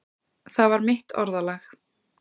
Það var mitt orðalag.